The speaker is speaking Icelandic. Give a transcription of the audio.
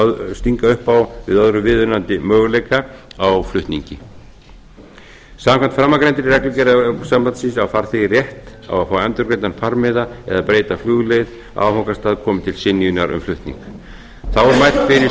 stinga upp á öðrum viðunandi möguleika á flutningi samkvæmt framangreindri reglugerð evrópusambandsins á farþegi rétt á að fá endurgreiddan farmiða eða breyta flugleið á áfangastað komi til synjunar um flutning þá er mælt